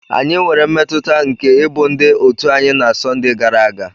Anyị nwere mmetụta nke ịbụ ndị òtù anyị na Sunday gara aga.